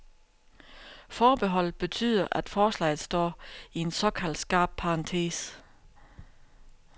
Forbeholdet betyder, at forslaget står i en såkaldt skarp parentes.